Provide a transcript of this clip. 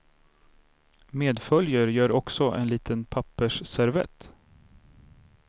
Medföljer gör också en liten pappersservett.